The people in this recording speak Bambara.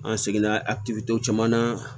An seginna a ti to caman na